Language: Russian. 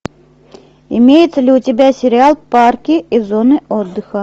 имеется ли у тебя сериал парки и зоны отдыха